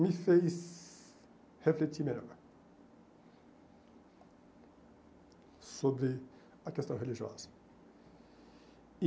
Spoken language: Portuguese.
me fez refletir melhor sobre a questão religiosa. E